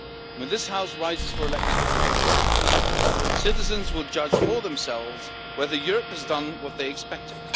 When this House rises for elections in 2019, citizens will judge for themselves whether Europe has done what they expected.